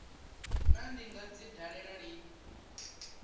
naa ndi nga dzi dalela lini